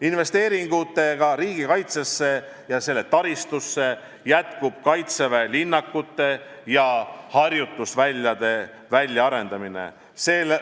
Investeeringutega riigikaitsesse ja selle taristusse jätkub kaitseväe linnakute ja harjutusväljade väljaarendamine.